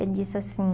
Ele disse assim...